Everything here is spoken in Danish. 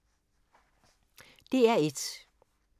DR1